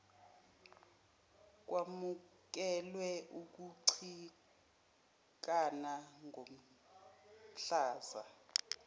kwamukelwe ukucikana komhlaza